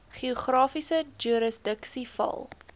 geografiese jurisdiksie val